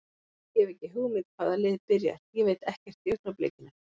Ég hef ekki hugmynd hvaða lið byrjar, ég veit ekkert í augnablikinu.